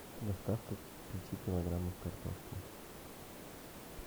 доставка пяти килограммов картошки